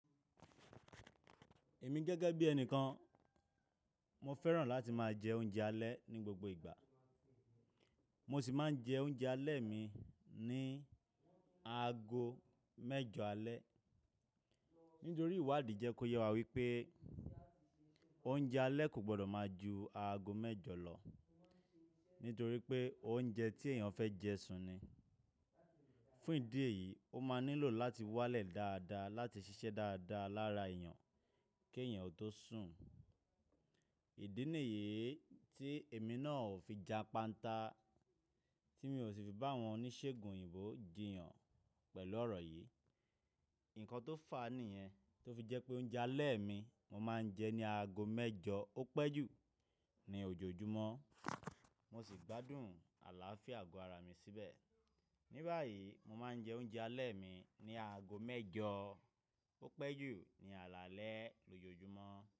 Èmi gẹ́gẹ́ bí ẹnìkan, mo fẹ́ràn láti má a jẹ oúnjẹ alẹ́ ní gbogbo ìgbà. Mo sì má a ń jẹ oúnjẹ alẹ́ mi ní aago mẹ́jọ alẹ́. Nítorí ìwádìí jẹ́ kó yẹ wá wípẹ́ oúnjẹ alẹ́ kò gbọdọ̀ má a ju aago mẹ́jọ lọ nítorí pé óúnjẹ tí èèyàn fẹ́ jẹ ṣún ni. Fún ìdí èyí, ó má a nílò láti wálẹ̀ dáadáa láti ṣiṣẹ́ dáadáa lára èèyàn kí èèyàn o tó sùn. Ìdí nìyii tí èmi náà ò fi japanta, tí mi ò sì fi bá àwọn oníṣègùn òyìnbó jiyàn pẹ̀lú ọ̀rọ̀ yìí. Ǹkan tó fàa nìyẹn, tó fi jẹ́ pé oúnjẹ alẹ́ mi mo má a ń jẹ ní aago mẹ́jọ ó pẹ́jù ní ojoojúmọ́. Mo sì gbádùn àláafíà àgọ́ ara mi síbẹ̀. Ní báyìí, mo má a ń jẹ oúnjẹ alẹ́ mi ní aago mẹ́jọ ó pẹ́jù ní alaalẹ́ lójoojúmọ́